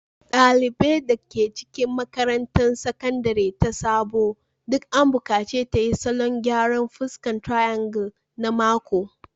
Dalibar da ke makarantar Sakandare ta Sabo duk an bukaci ta yi salon gyaran fuska triangle na mako